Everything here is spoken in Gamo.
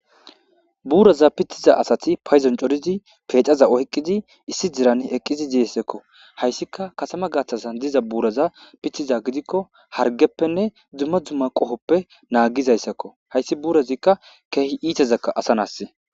Buuraza pitiza asati payzon corizi peecaza ohqqizi issi diran eqqizi diyessekko hayssika kasama gathtasan diza buuraza pitiza gidikko hargeppenne dzumma dzumma qohoppe naagizayssakko hayssi buurazikka keehi iitezakka asanas